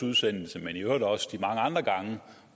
udsendelsen men i øvrigt også de mange andre gange